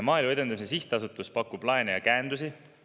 Maaelu Edendamise Sihtasutus pakub laene ja käendusi.